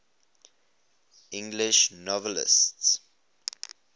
english novelists